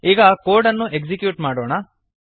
ಈಗ ಕೋಡ್ ಅನ್ನು ಎಕ್ಸಿಕ್ಯೂಟ್ ಮಾಡೋಣ